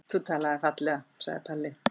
Þú talaðir fallega, sagði Palli.